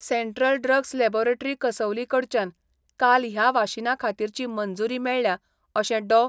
Central Drugs Laboratory कसौलीकडच्यान काल ह्या वाशिनाखातीरची मंजुरी मेळ्ळ्या, अशे डॉ.